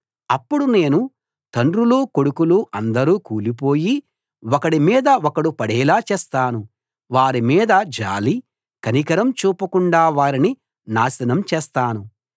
అప్పుడు నేను తండ్రులూ కొడుకులూ అందరూ కూలిపోయి ఒకడి మీద ఒకడు పడేలా చేస్తాను వారి మీద జాలీ కనికరమూ చూపకుండా వారిని నాశనం చేస్తాను